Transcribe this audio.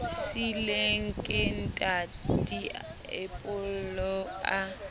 siilweng ke ntata diepollo a